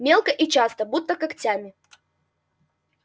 мелко и часто будто когтями